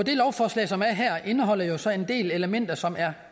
det lovforslag som er her indeholder jo så en del elementer som er